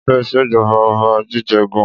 O nífẹẹ ìṣèjọba Ọba jíjẹ gan.